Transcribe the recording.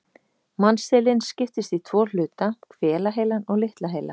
Mannsheilinn skiptist í tvo hluta, hvelaheilann og litla heila.